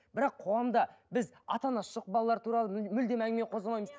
бірақ қоғамда біз ата анасы жоқ балалар туралы мүлдем әңгіме қозғамаймыз